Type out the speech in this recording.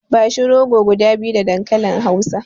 Bashi rogo guda biyu da dankalin hausa.